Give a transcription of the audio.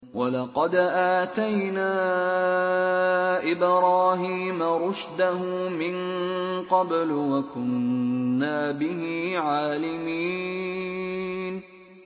۞ وَلَقَدْ آتَيْنَا إِبْرَاهِيمَ رُشْدَهُ مِن قَبْلُ وَكُنَّا بِهِ عَالِمِينَ